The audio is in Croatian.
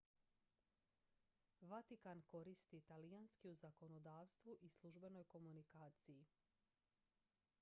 vatikan koristi talijanski u zakonodavstvu i službenoj komunikaciji